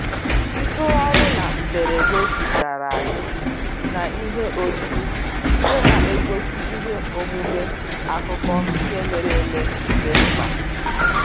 Ntugharị na mberede dugara anyị n'ihe oyiyi nke na-egosi ihe omume akụkọ ihe mere eme dị mkpa.